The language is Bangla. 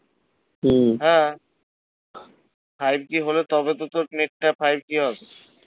হম হ্যাঁ five g হলে তবে তো তোর net টা five g হবে